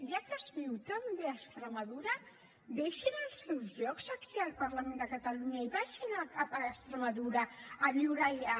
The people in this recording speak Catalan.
ja que es viu tan bé a extremadura que deixin els seus llocs aquí al parlament de catalunya i vagin a extremadura a viure allà